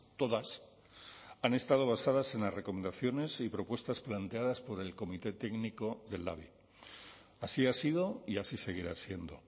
todas han estado basadas en las recomendaciones y propuestas planteadas por el comité técnico del labi así ha sido y así seguirá siendo